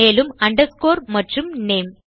மேலும் அண்டர்ஸ்கோர் மற்றும் நேம்